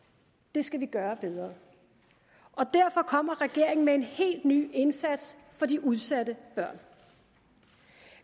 det skal vi gøre bedre derfor kommer regeringen med en helt ny indsats for de udsatte børn